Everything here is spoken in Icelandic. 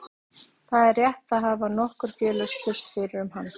Það er rétt, það hafa nokkur félög spurst fyrir um hann.